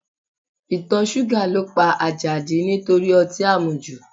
Ìtọ̀ ṣúgà ló pa Àjàdí nítorí ọtí àmujù